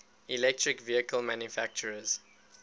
electric vehicle manufacturers